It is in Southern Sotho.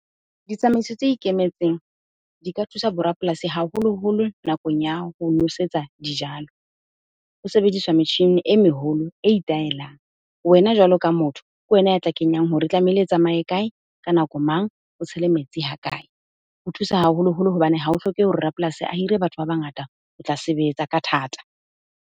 Ditsamaiso tse ikemetseng di ka thusa borapolasi haholoholo nakong ya ho nosetsa dijalo. Ho sebediswa metjhini e meholo e itaelang. Wena jwalo ka motho, ke wena ya tla kenyang hore e tlameile e tsamaye kae? Ka nako mang? O tshela metsi hakae? Ho thusa haholoholo hobane hao hlokehe hore rapolasi a hire batho ba bangata ho tla sebetsa ka thata.